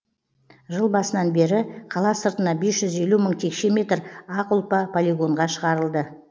жыл басынан бері қала сыртына бес жүз елу мың текше метр ақ ұлпа полигонға шығарылды